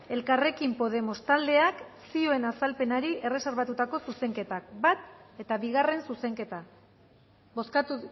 elkarrekin podemos taldeak zioen azalpenari erreserbatutako zuzenketak bat eta bigarren zuzenketa bozkatu